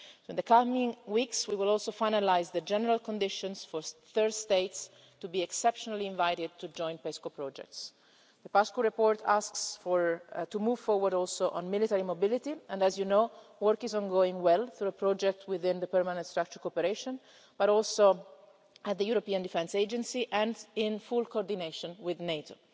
In the coming weeks, we will also finalise the general conditions for third states to be exceptionally invited to join PESCO projects. The Paşcu report also asks to move forward on military mobility and, as you know, work is going well on a project within the Permanent Structured Cooperation, as well as at the European Defence Agency, and in full coordination with NATO.